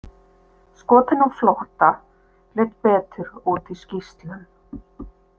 „Skotinn á flótta“ leit betur út í skýrslum.